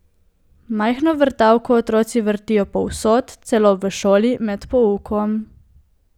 Majhno vrtavko otroci vrtijo povsod, celo v šoli, med poukom.